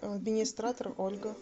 администратор ольга